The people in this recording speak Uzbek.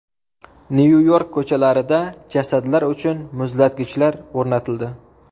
Nyu-York ko‘chalarida jasadlar uchun muzlatgichlar o‘rnatildi.